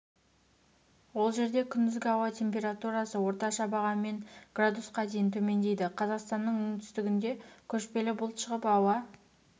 ол жерде күндізгі ауа температурасы орташа бағаммен градусқа дейін төмендейді қазақстанның оңтүстігінде көшпелі бұлт шығып ауа